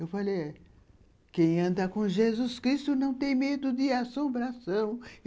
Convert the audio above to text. Eu falei, quem anda com Jesus Cristo não tem medo de assombração.